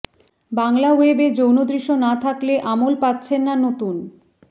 বাংলা ওয়েবে যৌন দৃশ্য না থাকলে আমল পাচ্ছেন না নতুন